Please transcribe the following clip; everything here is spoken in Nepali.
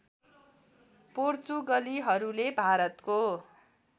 पोर्चुगलीहरूले भारतको